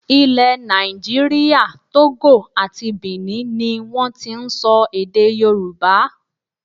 Ilẹ̀ nàìjíríà, Togo àti Bìní ni wọ́n ti ń sọ èdè Yorùbá.